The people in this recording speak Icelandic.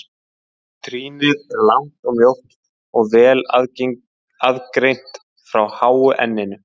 Trýnið er langt og mjótt og vel aðgreint frá háu enninu.